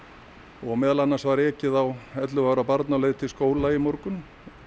og meðal annars var ekið á ellefu ára barn á leið til skóla í morgun